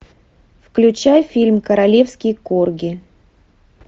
включай фильм королевские корги